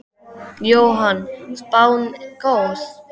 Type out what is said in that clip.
Jóhann: Spáin góð?